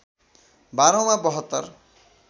बाह्रौँमा ७२